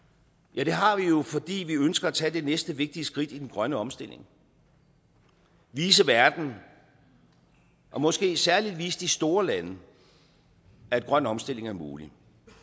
ja det har vi jo fordi vi ønsker at tage det næste vigtige skridt i den grønne omstilling vise verden og måske særlig vise de store lande at grøn omstilling er mulig